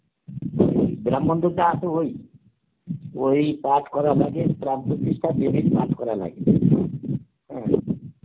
ব্রাহ্মণ দুটো আছে ওই, ওই পাঠ করার আগে পাঠ করা লাগে, হ্যাঁ